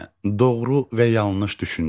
Doğru və yanlış düşüncə.